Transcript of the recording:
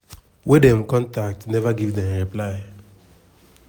wey dem contact neva give dem reply.